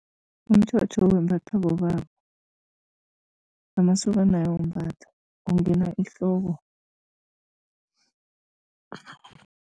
Umtjhotjho wembathwa bobaba, amasokana ayawumbatha, ungena ehloko.